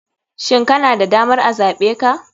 Shin kana da damar a zaɓe ka?